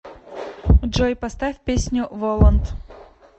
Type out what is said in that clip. джой поставь песню волант